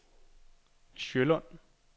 Sjølund